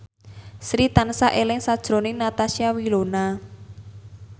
Sri tansah eling sakjroning Natasha Wilona